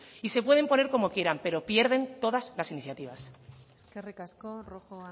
y se pueden poner como quieran pero pierden todas las iniciativas eskerrik asko rojo